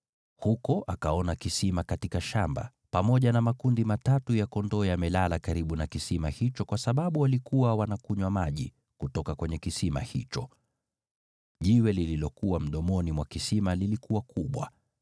Huko akaona kisima katika shamba, pamoja na makundi matatu ya kondoo yamelala karibu na kisima hicho kwa sababu walikuwa wanakunywa maji kutoka kwenye kisimani hicho. Jiwe lililokuwa mdomoni mwa kisima lilikuwa kubwa.